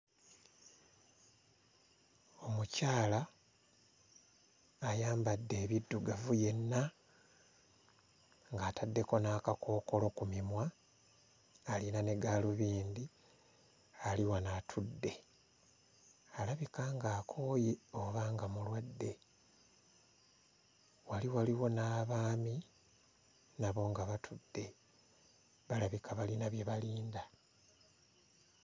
Omukyala ayambadde ebiddugavu yenna ng'ataddeko n'akakookolo ku mimwa alina ne gaalubindi ali wano atudde alabika nga akooye oba nga mulwadde wali waliwo n'abaami nabo nga batudde balabika balina bye balinda.